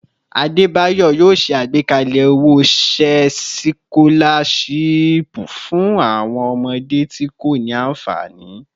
Adebayor yoo ṣe agbekalẹ owo-iṣẹ sikolashipu fun awọn ọmọde ti ko ni anfani